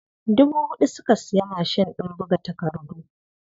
Dubu huɗu suka siya mashin ɗin buga takardu.